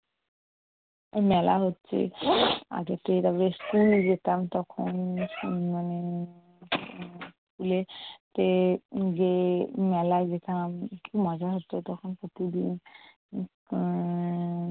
মেলা হচ্ছে। আগেতো এর আগে স্কুলে যেতাম তখন মানে স্কুলেতে যেয়ে মেলায় যেতাম, মজা হত তখন খুবই আহ